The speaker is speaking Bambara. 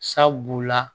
Sabu la